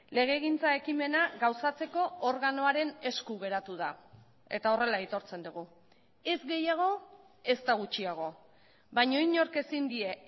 legegintza ekimena gauzatzeko organoaren esku geratu da eta horrela aitortzen dugu ez gehiago ezta gutxiago baina inork ezin die